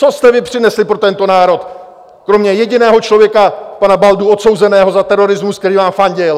Co jste vy přinesli pro tento národ kromě jediného člověka, pana Baldy, odsouzeného za terorismus, který vám fandil?